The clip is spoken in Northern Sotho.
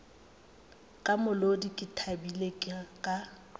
ka molodi ke thabile ka